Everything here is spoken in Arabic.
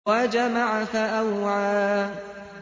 وَجَمَعَ فَأَوْعَىٰ